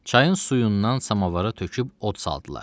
Çayın suyundan samovara töküb od saldılar.